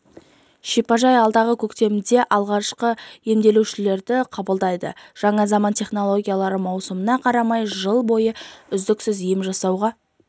шипажай алдағы көктемде алғашқы емделушілерді қабылдайды жаңа заман технологиялары маусымына қарамай жыл бойы үздіксіз ем жасауға